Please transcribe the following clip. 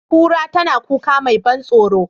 Kura tana kuka mai ban tsaro,